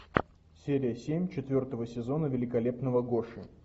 серия семь четвертого сезона великолепного гоши